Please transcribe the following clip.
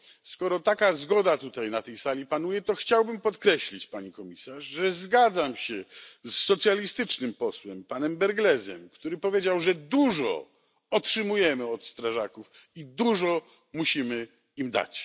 Skoro taka zgoda tutaj na tej sali panuje, to chciałbym podkreślić, Pani Komisarz, że zgadzam się z socjalistycznym posłem panem Brglezem, który powiedział, że dużo otrzymujemy od strażaków i dużo musimy im dać.